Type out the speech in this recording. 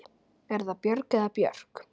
Er það Björg eða Björk?